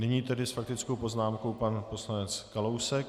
Nyní tedy s faktickou poznámkou pan poslanec Kalousek.